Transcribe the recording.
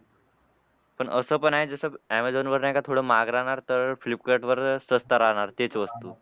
पण असं पण आहे जसं ऍमेझॉन वर नाही का थोडं महाग राहणार तर फ्लिपकार्टवर सस्ता राहणार तेच वस्तू.